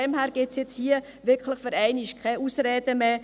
Insofern gibt es hier für einmal wirklich keine Ausreden mehr.